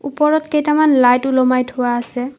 ওপৰত কেইটামান লাইট ওলোমাই থোৱা আছে।